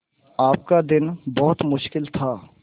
आपका दिन बहुत मुश्किल था